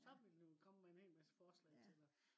så ville den jo komme med en hel masse forslag til dig